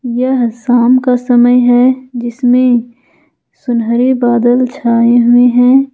यह साम का समय है जिसमें सुनहरे बादल छाए हुए हैं।